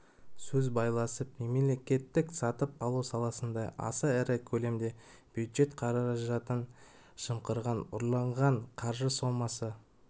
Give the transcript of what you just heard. сөз байласып мемлекеттік сатып алу саласында аса ірі көлемде бюджет қаражтын жымқырған ұрланған қаржы сомасы